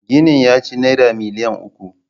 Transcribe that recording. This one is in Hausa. Ginin ya ci Naira miliyan uku.